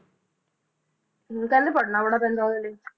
ਕਹਿੰਦੇ ਪੜ੍ਹਨਾ ਬੜਾ ਪੈਂਦਾ ਉਹਦੇ ਲਈ